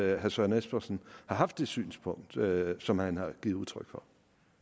at herre søren espersen har haft det synspunkt som han har givet udtryk for